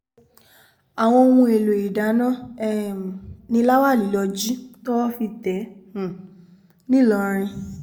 àwọn ohun èèlò ìdáná um ni láwálí lọ́ọ́ jí towó fi tẹ̀ um ẹ́ ńlọrọrìn